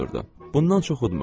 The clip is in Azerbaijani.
Bundan çox udmurdu.